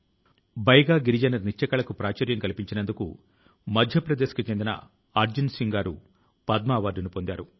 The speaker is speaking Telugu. ప్రియమైన నా దేశవాసులారా మహాభారత యుద్ధ సమయంలో నభః స్పృశం దీప్తం అని అర్జునుడి తో శ్రీకృష్ణుడు అన్నాడు